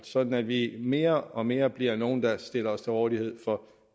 sådan at vi mere og mere bliver nogle der stiller os til rådighed for